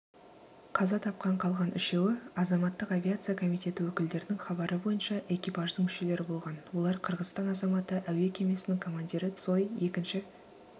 қаза тапқан қалған үшеуі азаматтық авиация комитеті өкілдерінің хабары бойынша экипаждың мүшелері болған олар қырғызстан азаматы әуе кемесінің командирі цой екінші